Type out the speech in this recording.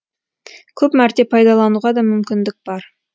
көп мәрте пайдалануға да мүмкіндік бар